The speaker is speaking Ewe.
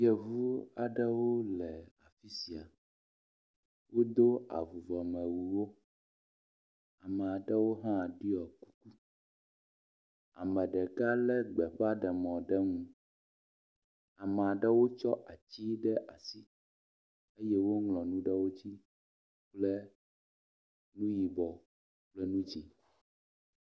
Yevu aɖewo le afi sia, wodo avuvɔmewuwo, amea ɖewo hã ɖɔ kuku, ame ɖeka lé gbeƒaɖemɔ ɖe nu. amea ɖewo tsɔ ati ɖe asi eye woŋlɔ nu ɖe wo dzi kple nu yibɔ kple nu dzɛ̃.